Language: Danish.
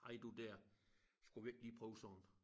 Hej du dér skal vi ikke lige prøve sådan